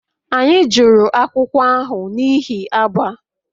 Anyị jụrụ akwụkwọ ahụ n'ihi agba